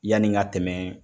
Yani n ka tɛmɛ